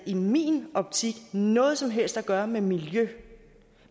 i min optik ikke noget som helst at gøre med miljø